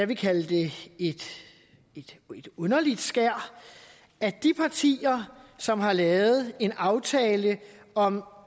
kan kalde det underligt skær at de partier som har lavet en aftale om